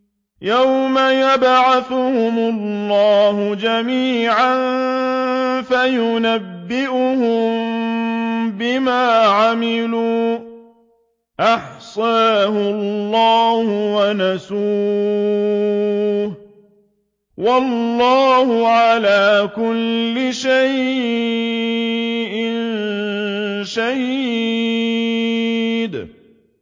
يَوْمَ يَبْعَثُهُمُ اللَّهُ جَمِيعًا فَيُنَبِّئُهُم بِمَا عَمِلُوا ۚ أَحْصَاهُ اللَّهُ وَنَسُوهُ ۚ وَاللَّهُ عَلَىٰ كُلِّ شَيْءٍ شَهِيدٌ